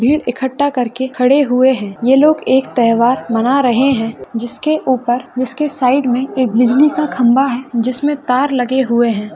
भीड़ इकट्टा करके खड़े हुए है ये लोग एक त्यौहार मना रहे है जिसके उपर उसके साइड मे एक बिजली का खंबा है जिसमे तार लगे हुये है।